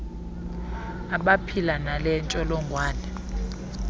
abaphila nale ntsholongwane